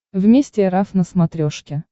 вместе эр эф на смотрешке